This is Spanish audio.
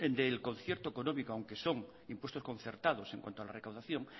del concierto económico aunque son impuesto concertados en cuanto a la recaudación